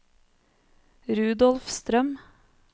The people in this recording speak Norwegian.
Rudolf Strøm